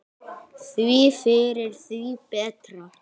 Því fyrr því betra.